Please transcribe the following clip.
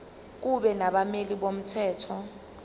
kube nabameli bomthetho